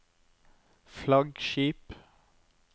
flaggskip